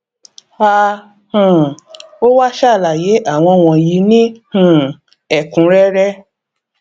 a um ó wá sàlàyé àwọn wọnyí ní um ẹkúnrẹrẹ